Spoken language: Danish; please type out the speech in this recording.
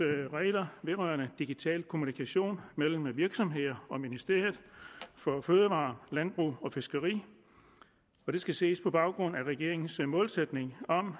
regler vedrørende digital kommunikation mellem virksomheder og ministeriet for fødevarer landbrug og fiskeri og det skal ses på baggrund af regeringens målsætning om at